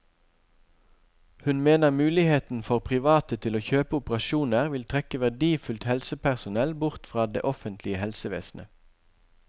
Hun mener muligheten for private til å kjøpe operasjoner vil trekke verdifullt helsepersonell bort fra det offentlige helsevesenet.